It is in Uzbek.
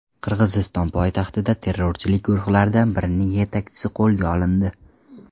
Qirg‘iziston poytaxtida terrorchilik guruhlaridan birining yetakchisi qo‘lga olindi.